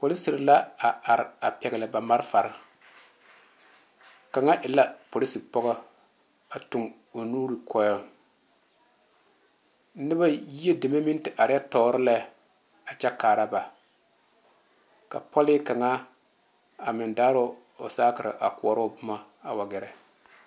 Polisiri la are are kaŋ e la polisi pɔge a tuu o nu koɔɛ noba yie meŋ te are tuori la a kyɛ kaare ba ka pɔle kaŋa meŋ daare o sakerɛ a kõɔrɔ o boma a wa gɛrɛ.